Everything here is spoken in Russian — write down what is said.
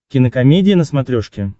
кинокомедия на смотрешке